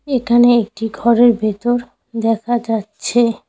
একানে একটি ঘরের ভেতর দেখা যাচ্ছে।